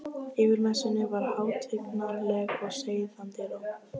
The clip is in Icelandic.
Yfir messunni var hátignarleg og seiðandi ró.